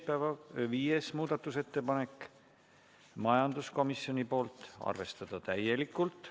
Viies muudatusettepanek, majanduskomisjonilt, seisukoht: arvestada täielikult.